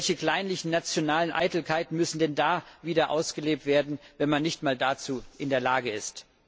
Welche kleinlichen, nationalen Eitelkeiten müssen denn da wieder ausgelebt werden, wenn man nicht mal dazu in der Lage ist?